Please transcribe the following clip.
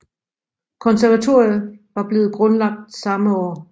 Konservatoriet var blevet grundlagt samme år